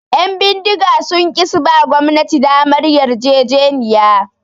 Ƴan bindiga sun ki suba gwamnati damar yarjejeniya